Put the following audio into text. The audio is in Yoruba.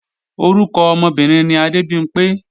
Orúkọ ọmọbìnrin ni Adébimpé